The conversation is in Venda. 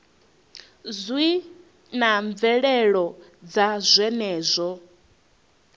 zwi na mvelelo dza zwenezwo